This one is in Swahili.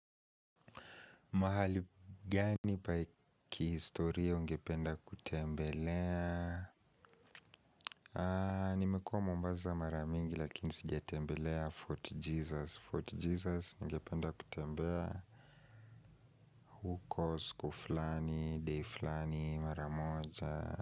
Mahali gani pa kihistoria ungependa kutembelea? Nimekuwa Mombasa maramingi lakini sijatembelea Fort Jesus. Fort Jesus ningependa kutembea, huko sku flani, de flani, mara moja.